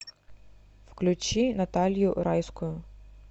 включи наталью райскую